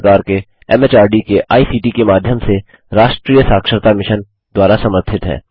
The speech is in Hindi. भारत सरकार के एमएचआरडी के आईसीटी के माध्यम से राष्ट्रीय साक्षरता मिशन द्वारा समर्थित है